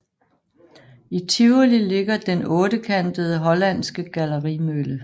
I Tivoli ligger den ottekantede hollandske gallerimølle